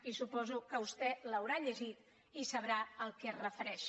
i suposo que vostè ho deu haver llegit i deu saber a què es refereix